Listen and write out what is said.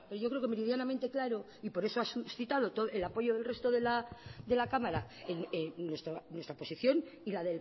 yo creo que meridianamente claro y por eso ha suscitado el apoyo del resto de la cámara nuestra posición y la